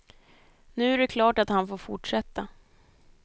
Nu är det klart att han får fortsätta.